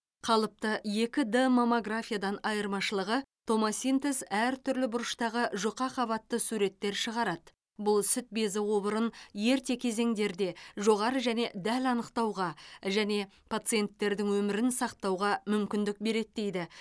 қалыпты екі д маммографиядан айырмашылығы томосинтез әр түрлі бұрыштағы жұқа қабатты суреттер шығарады бұл сүт безі обырын ерте кезеңдерде жоғары және дәл анықтауға және пациенттердің өмірін сақтауға мүмкіндік береді дейді